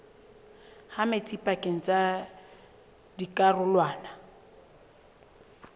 ha metsi pakeng tsa dikarolwana